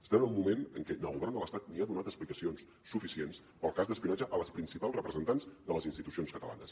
estem en un moment en què el govern de l’estat no ha donat explicacions suficients pel cas d’espionatge a les principals representants de les institucions catalanes